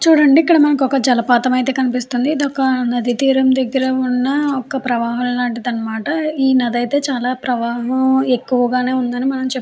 చూడండి మనకి ఇక్కడ ఒక జలపాతం అయితే కనిపిస్తుంది ఇది ఒక నది తీరం దగ్గర ఉన్న ఒక ప్రవాహం లాంటిది అనమాట ఈ నది అయితే ప్రవాహము ఎక్కువ గానే ఉంది అని మనం చెప్ --